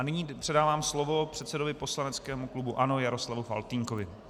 A nyní předávám slovo předsedovi poslaneckého klubu ANO Jaroslavu Faltýnkovi.